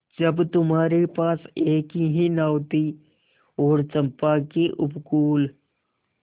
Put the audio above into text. जब तुम्हारे पास एक ही नाव थी और चंपा के उपकूल